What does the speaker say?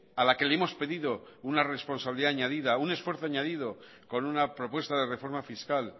a la que le hemos pedido una responsabilidad añadida un esfuerzo añadido con una propuesta de reforma fiscal